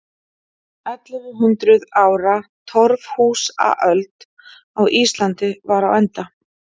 Ellefu hundruð ára torfhúsaöld á Íslandi var á enda.